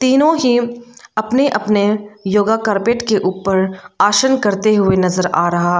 तीनों ही अपने अपने योगा कारपेट के ऊपर आसान करते हुए नजर आ रहा है।